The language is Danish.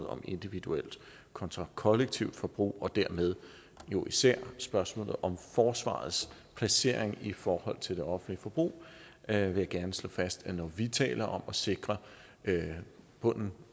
om individuelt kontra kollektivt forbrug og dermed jo især spørgsmålet om forsvarets placering i forhold til det offentlige forbrug her vil jeg gerne slå fast at når vi taler om at sikre bunden